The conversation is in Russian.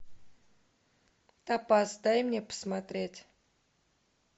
топаз дай мне посмотреть